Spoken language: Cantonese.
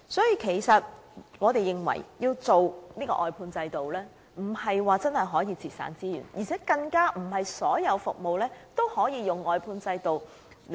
因此，我們認為推行外判制度不能真正節省資源，更不是所有服務均可使用外判制度。